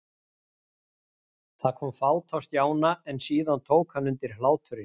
Það kom fát á Stjána, en síðan tók hann undir hláturinn.